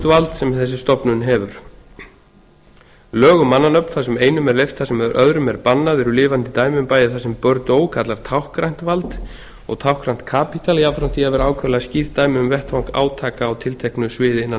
vald sem þessi stofnun hefur lög um mannanöfn þar sem einum er leyft það sem öðrum er bannað eru lifandi dæmi um bæði það sem b kallar táknrænt vald og táknrænt kapítal jafnframt því að vera ákaflega skýrt dæmi um vettvang átaka á tilteknu sviði innan